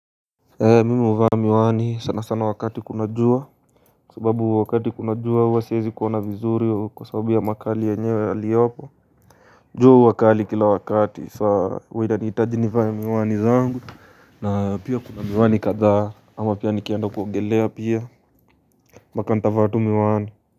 Mimi huvaa miwani sana sana wakati kuna jua Kwa sababu wakati kuna jua huwa siwezi kuona vizuri Kwa sababu ya makali yenyewe yaliopo jua huwa kali kila wakati sa huwa inanihitaji nivae miwani zangu na pia kuna miwani kadhaa ama pia nikienda kuongelea pia mpaka ntavaa tu miwani.